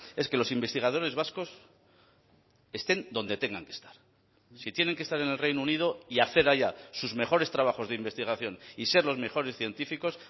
es que los investigadores vascos estén donde tengan que estar si tienen que estar en el reino unido y hacer allá sus mejores trabajos de investigación y ser los mejores científicos